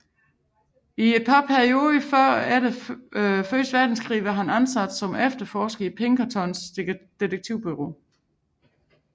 I et par perioder før og efter første verdenskrig var han ansat som efterforsker i Pinkertons detektivbureau